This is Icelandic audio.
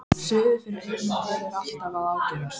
Suðið fyrir eyrunum á mér er alltaf að ágerast.